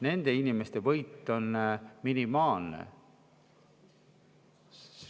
Nende inimeste võit on minimaalne.